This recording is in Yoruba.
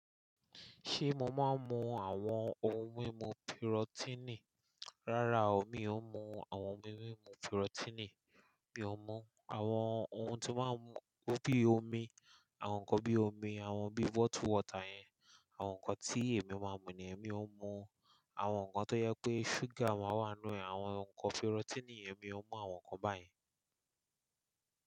Ṣé mo máa ń mu àwọn ohun mímu pirọ́tíìnì? Rárá o, mi ò ń mu àwọn ohun mímu pirọ́tíìnì, mi o n mú àwọn ohun tí máa ń mu bí i omi, àwọn nǹkan bíi omi, àwọn bíí bottled water yẹn, àwọn nǹkan tí èmi máa ń mu nìyẹn, mi ó mú. Àwọn nǹkan tó yẹ pé ṣúgà máa wà nínú ẹ̀, àwọn nǹkan pirọ́tíìnì, èmi ò mú àwọn nǹkan báyen.